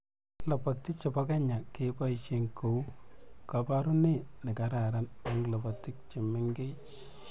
Lobotii che bo Kenya keboisie kou koborunee ne kararan eng lobotiik che mengech.